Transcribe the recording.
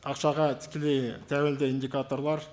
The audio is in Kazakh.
ақшаға тікелей тәуелді индикаторлар